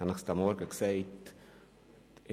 Ich habe es bereits erwähnt: